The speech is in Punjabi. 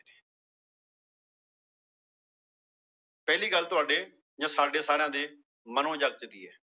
ਪਹਿਲੀ ਗੱਲ ਤੁਹਾਡੇ ਜਾਂ ਸਾਡੇ ਸਾਰਿਆਂ ਦੇ ਮਨੋ ਜਗਤ ਦੀ ਹੈ।